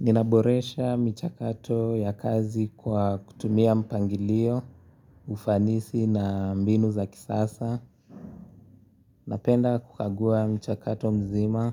Ninaboresha mchakato ya kazi kwa kutumia mpangilio, ufanisi na mbinu za kisasa, napenda kukagua mchakato mzima,